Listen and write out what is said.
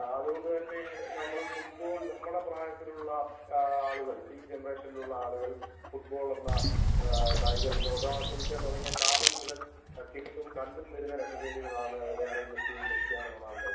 അതുകൊണ്ട് തന്നെ നമ്മുടെ പ്രായത്തിലുള്ള ആളുകൾ ഈ ജനറേഷനിൽ ഉള്ള ആളുകൾ ഫുട്ബോൾ എന്ന കായിക വിനോദം ആസ്വദിക്കാൻ തുടങ്ങിയ കാലം മുതൽ പ്രത്യേകം കണ്ടുവരുന്ന രണ്ടു പേരുകളാണ് ലയണൽ മെസ്സിയും ക്രിസ്ത്യാനോ റൊണാൾഡോയും